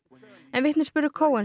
en vitnisburður